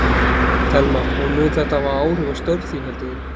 Telma: Og mun þetta hafa áhrif á störf þín heldur þú?